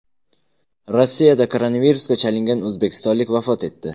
Rossiyada koronavirusga chalingan o‘zbekistonlik vafot etdi.